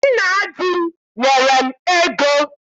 Nna di m nyere m ego.